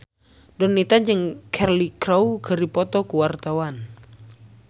Donita jeung Cheryl Crow keur dipoto ku wartawan